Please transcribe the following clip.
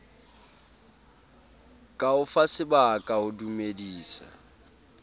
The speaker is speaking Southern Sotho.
ka o fasebaka ho dumedisa